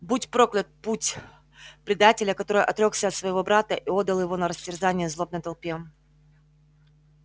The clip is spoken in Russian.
будь проклят путь предателя который отрёкся от своего брата и отдал его на растерзание злобной толпе